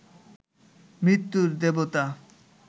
মৃত্যুর দেবতা